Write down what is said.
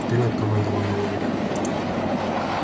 вперёд командовала ольга